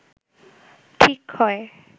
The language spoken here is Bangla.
ঠিক হয়